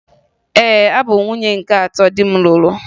Ee, abụ m nwunye nke atọ di m lụrụ